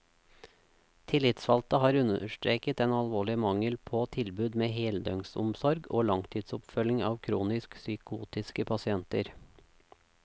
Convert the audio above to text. Tillitsvalgte har understreket den alvorlige mangel på tilbud med heldøgnsomsorg og langtidsoppfølging av kronisk psykotiske pasienter.